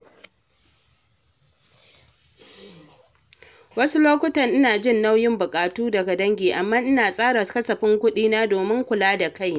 Wasu lokuta ina jin nauyin buƙatu daga dangi, amma ina tsara kasafin kuɗina domin kula da kaina.